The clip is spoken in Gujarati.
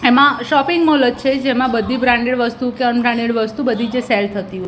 એમાં શોપિંગ મોલ જ છે જેમાં બધી બ્રાન્ડેડ વસ્તુ કે અન બ્રાન્ડેડ વસ્તુ બધી જે સેલ થતી હોય.